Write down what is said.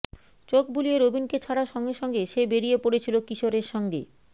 চোখ বুলিয়ে রবিনকে ছাড়ার সঙ্গে সঙ্গে সে বেরিয়ে পড়েছিল কিশোরের সঙ্গে